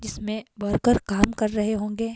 जिसमें वर्कर काम कर रहे होंगे।